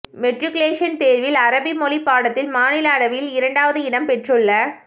matriculation தேர்வில் அரபி மொழி பாடத்தில் மாநில அளவில் இரண்டாம் இடம் பெற்றுள்ள